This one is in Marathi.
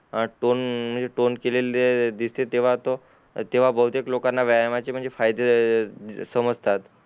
अं टोन म्हणजे नोट केलेले दिसते तेव्हा तो तेव्हा बहुतेक लोकांना व्यायामाचे म्हणजे फायदे समजतात